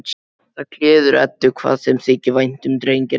Það gleður Eddu hvað þeim þykir vænt um drenginn hennar.